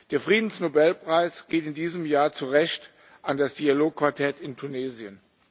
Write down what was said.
Der Friedensnobelpreis geht in diesem Jahr zu Recht an das Dialogquartett in Tunesien.